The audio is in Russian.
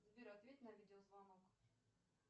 сбер ответь на видеозвонок